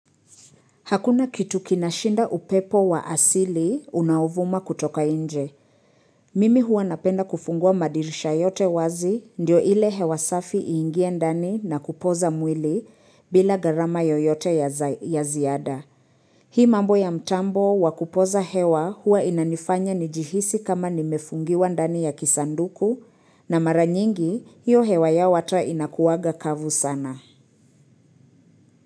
Hakuna kitu kinashinda upepo wa asili unauvuma kutoka inje. Mimi huwa napenda kufungua madirisha yote wazi ndio ile hewasafi iingie ndani na kupoza mwili bila gharama yoyote ya ziada. Hii mambo ya mtambo wakupoza hewa huwa inanifanya njihisi kama nimefungiwa ndani ya kisanduku na maranyingi hiyo hewa ya wata inakuwaga kavu sana.